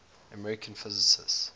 american physicists